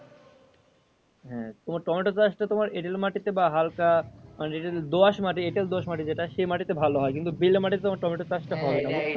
হ্যাঁ তোমার টমেটো চাষ টা তোমার এঁটেল মাটিতে বা হাল্কা বা যেটা দোআঁশ মাটি যেটা সে মাটিতে ভালো হয় কিন্তু বিড়লা মাটিতে তোমার টমেটো চাষ টা হয় না।